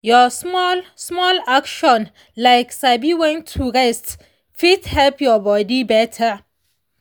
small-small action like sabi when to rest fit help your body better.